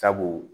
Sabu